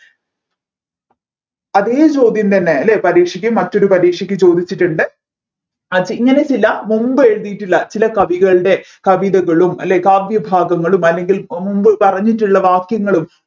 അതെ ചോദ്യം തന്നെ അല്ലെ പരീക്ഷക്ക് മറ്റൊരു പരീക്ഷക്ക് ചോദിച്ചിട്ടുണ്ട് അത് ഇങ്ങനെ ചില മുൻപ് എഴുതിയിട്ടുള്ള ചില കവികൾടെ കവിതകളും അല്ലെ കാവ്യഭാഗങ്ങളും അല്ലെങ്കിൽ മുൻപ് പറഞ്ഞിട്ടുള്ള വാക്യങ്ങളും